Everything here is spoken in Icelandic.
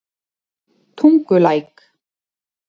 Tungulæk